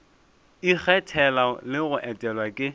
ikgethela le go etelwa ke